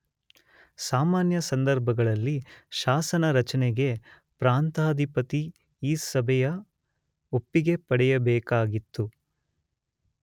ಸಾಮಾನ್ಯ ಸಂದರ್ಭಗಳಲ್ಲಿ ಶಾಸನ ರಚನೆಗೆ ಪ್ರಾಂತಾಧಿಪತಿ ಈ ಸಭೆಯ ಒಪ್ಪಿಗೆ ಪಡೆಯಬೇಕಾಗಿತ್ತು.